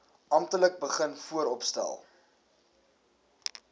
amptelik begin vooropstel